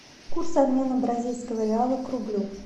курс обмена бразильского реала к рублю